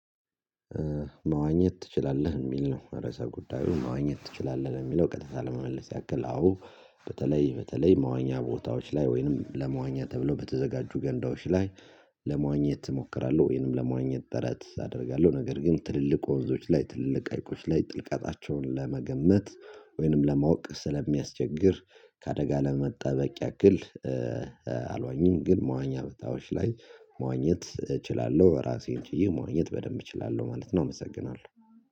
መዋኘት ትችላለህ የሚል ነው? ርዕሰ ጉዳዩ መዋኘት ትችላለህ የሚለው ቀጥታ ለመመለስ ያክል አዎ። በተለይ በተለይ መዋኛ ቦታዎች ላይ ወይንም ለመዋኛ ተብሎ በተዘጋጁ ገንዳዎች ላይ ለመዋኘት እሞክራለሁ ወይንም ለመዋኘት ጥረት አደርጋለሁ። ነገር ግን ትልልቅ ወንዞች ላይ ትልልቅ ቀይቆች ላይ ጥልቀታቸውን ለመገመት ወይንም ለማወቅ ስለሚያስቸግር ከአደጋ ለመጠበቅ ያክል። አልዋኝም ግን መዋኛ በታዎች ላይ መዋኘት እችላለሁ ራሴን ጭዬ መዋኘት በደንብ እችላለሁ ማለት ነው። እመሰግናለሁ